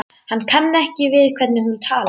Hann kann ekki við hvernig hún talar.